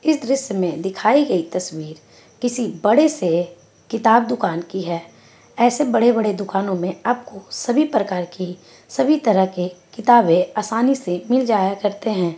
इस दृश्य में दिखाई गई तस्वीर किसी बड़े से किताब दुकान की हैं ऐसे बड़े बड़े दुकानों में आपको सभी प्रकार की सभी तरह के किताबे आसानी से मिल जाया करते हैं।